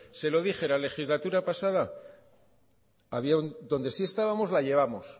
se lo dije en la legislatura pasada donde sí estábamos y la llevamos